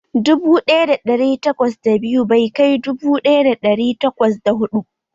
Dubu ɗaya da ɗari takwas da biyu bai kai dubu ɗaya da ɗari takwas da ɗari takwas da huɗu